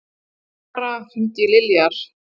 Tamara, hringdu í Liljar.